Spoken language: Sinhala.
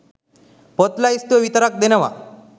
පොත් ලැයිස්තුව විතරක් දෙනවා.